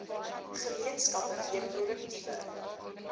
gemeenskappe weer produktiewe